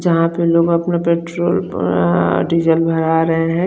जहा पर लोग अपना पट्रोल डीज़ल भरा रहे है ।